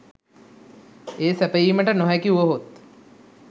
එය සැපයීමට නොහැකි වුවහොත්